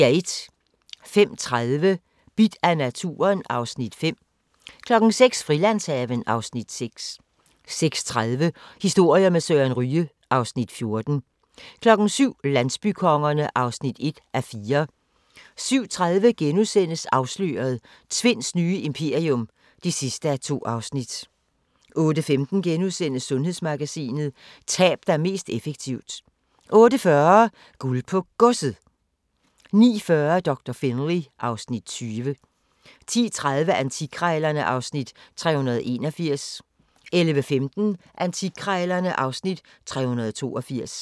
05:30: Bidt af naturen (Afs. 5) 06:00: Frilandshaven (Afs. 6) 06:30: Historier med Søren Ryge (Afs. 14) 07:00: Landsbykongerne (1:4) 07:30: Afsløret – Tvinds nye imperium (2:2)* 08:15: Sundhedsmagasinet: Tab dig mest effektivt * 08:40: Guld på Godset 09:40: Doktor Finlay (Afs. 20) 10:30: Antikkrejlerne (Afs. 381) 11:15: Antikkrejlerne (Afs. 382)